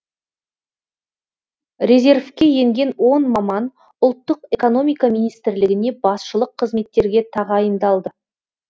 резервке енген он маман ұлттық экономика министрлігіне басшылық қызметтерге тағайындалды